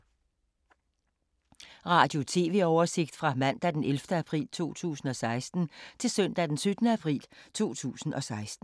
Radio/TV oversigt fra mandag d. 11. april 2016 til søndag d. 17. april 2016